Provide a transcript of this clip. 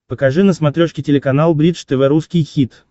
покажи на смотрешке телеканал бридж тв русский хит